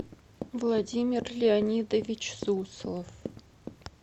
владимир леонидович суслов